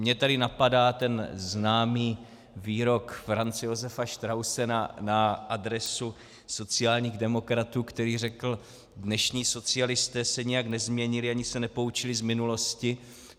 Mě tady napadá ten známý výrok Franze Josefa Strausse na adresu sociálních demokratů, který řekl: Dnešní socialisté se nijak nezměnili ani se nepoučili z minulosti.